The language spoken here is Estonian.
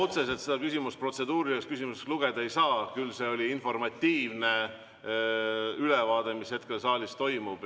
Ma otseselt seda küsimust protseduuriliseks küsimuseks lugeda ei saa, küll oli see informatiivne ülevaade sellest, mis hetkel saalis toimub.